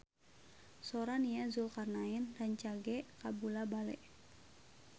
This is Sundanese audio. Sora Nia Zulkarnaen rancage kabula-bale